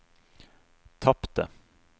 tapte